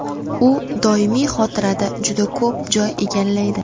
U doimiy xotirada juda ko‘p joy egallaydi.